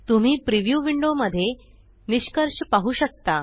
तुम्ही preview window मध्ये निष्कर्ष पाहु शकता